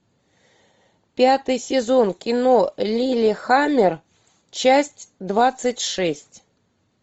пятый сезон кино лиллехаммер часть двадцать шесть